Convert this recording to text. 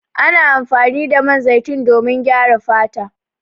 Ana amfani da man zaitun domin gyara fata.